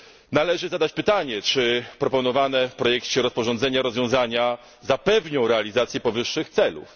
Należy zadać pytanie, czy proponowane w projekcie rozporządzenia rozwiązania zapewnią realizację powyższych celów.